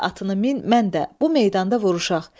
Sən də atını min, mən də bu meydanda vuruşaq.